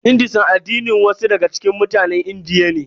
Hinduism addinin wasu daga cikin mutanen Indiya ne.